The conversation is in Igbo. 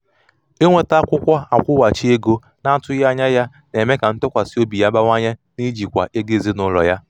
inweta akwụkwọ akwụghachi ego na-atụghị anya ya na-eme ka ntụkwasị obi ya bawanye n’ijikwa ego ezinụlọ ya